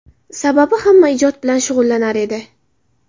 Sababi, hamma ijod bilan shug‘ullanar edi!